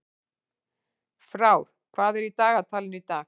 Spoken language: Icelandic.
Frár, hvað er í dagatalinu í dag?